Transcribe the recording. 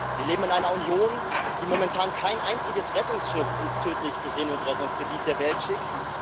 Wir leben in einer Union, die momentan kein einziges Rettungsschiff ins tödlichste Seenotrettungsgebiet der Welt schickt.